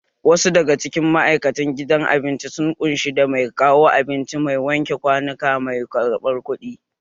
Wasu daga cikin ma'aikatan gidan abinci sun ƙunshi da mai kawo abinci, mai wanke kwanuka, mai ƙarɓar kuɗi